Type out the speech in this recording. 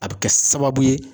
A bɛ kɛ sababu ye.